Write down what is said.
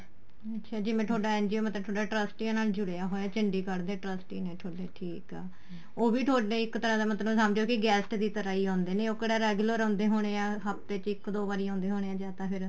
ਅੱਛਾ ਜਿਵੇਂ ਤੁਹਾਡਾ NGO ਮਤਲਬ ਤੁਹਾਡਾ ਟੱਰਸਟੀਆਂ ਨਾਲ ਜੁੜਿਆ ਹੋਇਆ ਚੰਡੀਗੜ੍ਹ ਦੇ trusty ਨੇ ਠੀਕ ਆ ਉਹ ਵੀ ਤੁਹਾਡੇ ਇੱਕ ਤਰ੍ਹਾਂ ਦਾ ਮਤਲਬ ਸਮਝੋ guest ਦੀ ਤਰ੍ਹਾਂ ਆਉਦੇ ਨੇ ਉਹ ਕਿਹੜਾ regular ਆਉਦੇ ਹੋਣੇ ਆ ਹੱਫਤੇ ਵਿੱਚ ਇੱਕ ਦੋ ਵਾਰ ਆਉਦੇ ਹੋਣੇ ਹਾਂ ਜਾਂ ਤਾਂ ਫਿਰ